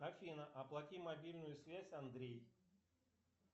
афина оплати мобильную связь андрей